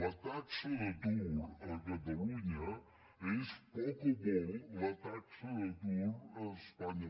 la taxa d’atur a catalunya és poc o molt la taxa d’atur a espanya